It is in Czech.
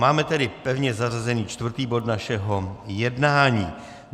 Máme tedy pevně zařazený čtvrtý bod našeho jednání.